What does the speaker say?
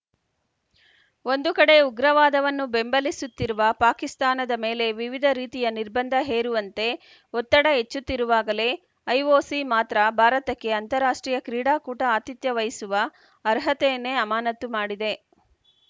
ಒಂದು ಕಡೆ ಉಗ್ರವಾದವನ್ನು ಬೆಂಬಲಿಸುತ್ತಿರುವ ಪಾಕಿಸ್ತಾನದ ಮೇಲೆ ವಿವಿಧ ರೀತಿಯ ನಿರ್ಬಂಧ ಹೇರುವಂತೆ ಒತ್ತಡ ಹೆಚ್ಚುತ್ತಿರುವಾಗಲೇ ಐಒಸಿ ಮಾತ್ರ ಭಾರತಕ್ಕೆ ಅಂತಾರಾಷ್ಟ್ರೀಯ ಕ್ರೀಡಾಕೂಟ ಆತಿಥ್ಯ ವಹಿಸುವ ಅರ್ಹತೆಯನ್ನೇ ಅಮಾನತು ಮಾಡಿದೆ